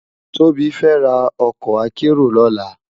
Tobi fè rá òkò àkèéró lòlá